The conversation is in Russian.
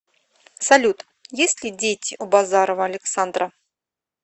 салют есть ли дети у базарова александра